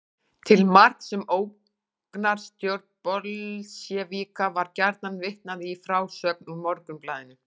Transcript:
Til marks um ógnarstjórn bolsévíka var gjarnan vitnað í frásögn úr Morgunblaðinu.